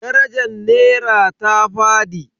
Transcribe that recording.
Darajar nera ta fadi.